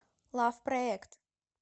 лав проект